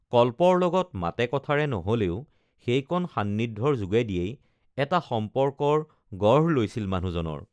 কল্পৰ লগত মাতে কথাৰে নহলেও সেইকণ সান্নিধ্যৰ যোগেদিয়েই এটা সম্পৰ্কৰ গঢ় লৈছিল মানুহজনৰ